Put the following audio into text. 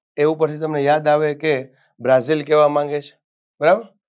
એ ઉપરથી તમને યાદ આવે કે brazil કેવા માંગે છે બરાબર